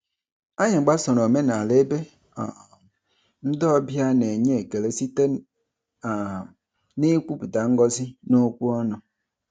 Anyị gbasoro omenala ebe um ndị ọbịa na-enye ekele site um n'ikwupụta ngọzi n'okwu ọnụ.